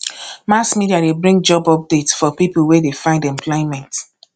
mass media de bring job updates for pipo wey de find employment